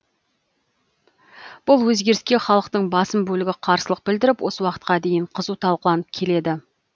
бұл өзгеріске халықтың басым бөлігі қарсылық білдіріп осы уақытқа дейін қызу талқыланып келеді